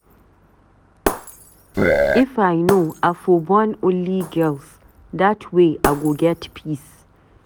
If I know I for born only girls, dat way I go get peace